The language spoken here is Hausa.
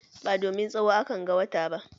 Ba domin tsawo a kan ga wata ba.